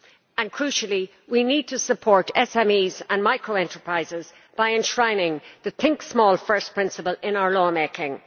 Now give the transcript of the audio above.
Finally, crucially, we need to support SMEs and micro enterprises by enshrining the think small first' principle in our law making.